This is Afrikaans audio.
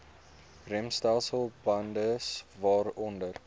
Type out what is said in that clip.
remstelsel bande waaronder